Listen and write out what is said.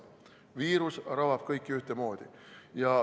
Viirus rabab kõiki ühtemoodi.